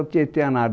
O Tietê a nado